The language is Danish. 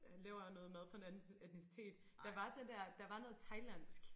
Laver noget mad fra en anden etnicitet der var den der der var noget thailandsk